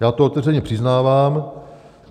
Já to otevřeně přiznávám.